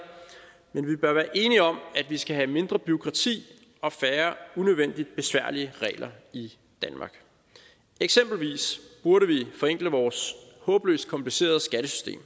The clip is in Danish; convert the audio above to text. men vi bør være enige om at vi skal have mindre bureaukrati og færre unødvendigt besværlige regler i danmark eksempelvis burde vi forenkle vores håbløst komplicerede skattesystem